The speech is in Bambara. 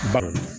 Balo